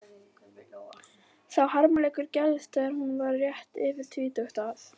Sá harmleikur gerðist þegar hún var rétt yfir tvítugt að